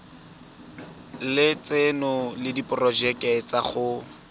lotseno le diporojeke tsa go